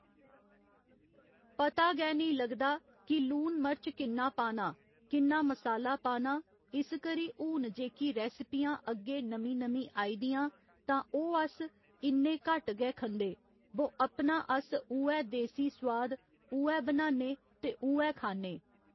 पता गै नेईं लगदा कि लून मर्च किन्ना पाना किन्ना मसाला पाना इस करी हून जेह्की रैस्पियां अग्गे नमीं नमीं आई दियां तां ओह् अस इन्ने घट्ट गै खंदे बो अपना अस उ'ऐ देसी सुआद उ'ऐ बनाने ते उ'ऐ खान्ने